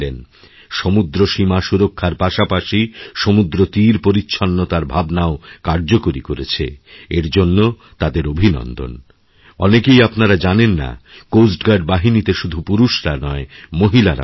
সমুদ্রসীমা সুরক্ষার পাশাপাশি সমুদ্রতীরপরিচ্ছন্নতার ভাবনাও কার্যকরী করেছে এর জন্য তাদের অভিনন্দন অনেকেই আপনারা জানেননা কোস্ট গার্ড বাহিনীতে শুধু পুরুষরা নয় মহিলারাও রয়েছেন